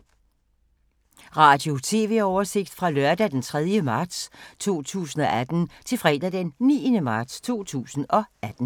Radio/TV oversigt fra lørdag d. 3. marts 2018 til fredag d. 9. marts 2018